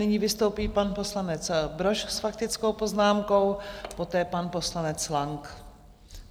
Nyní vystoupí pan poslanec Brož s faktickou poznámkou, poté pan poslanec Lang.